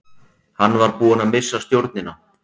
Hann var búinn að missa stjórnina.